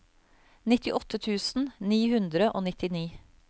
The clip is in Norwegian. nittiåtte tusen ni hundre og nittini